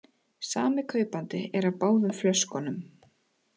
Sami kaupandi er af báðum flöskunum